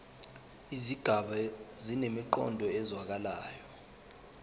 izigaba zinemiqondo ezwakalayo